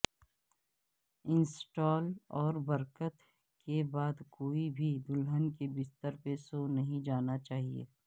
install اور برکت کے بعد کوئی بھی دلہن کے بستر پر سو نہیں جانا چاہئے